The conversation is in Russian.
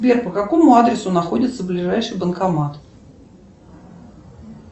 сбер по какому адресу находится ближайший банкомат